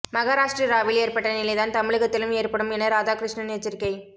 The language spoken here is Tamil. மகராஷ்டிராவில் ஏற்பட்ட நிலைதான் தமிழகத்திலும் ஏற்படும் என ராதாகிருஷ்ணன் எச்சரிக்கை